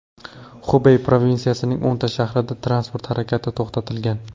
Xubey provinsiyasining o‘nta shahrida transport harakati to‘xtatilgan.